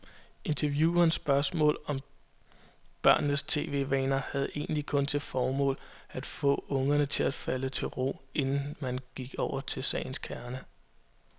Interviewernes spørgsmål om børnenes tv-vaner havde egentlig kun til formål, at få ungerne til at falde til ro, inden man gik over til sagens kerne.